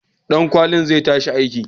Ɗunkulen zai tashi aiki.